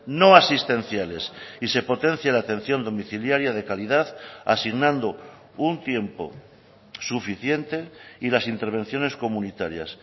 no asistenciales y se potencia la atención domiciliaria de calidad asignando un tiempo suficiente y las intervenciones comunitarias